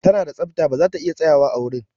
Ta na da tsafta ba za ta iya tsayawa a wurin.